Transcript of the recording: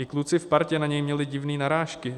I kluci v partě na něj měli divné narážky.